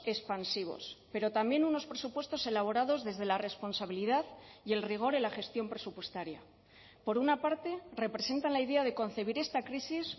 expansivos pero también unos presupuestos elaborados desde la responsabilidad y el rigor en la gestión presupuestaria por una parte representan la idea de concebir esta crisis